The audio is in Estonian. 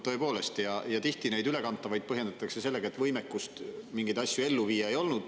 Tihti põhjendatakse neid ülekantavaid sellega, et ei olnud võimekust mingeid asju ellu viia.